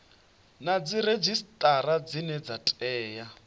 na dziredzhisitara dzine dza tea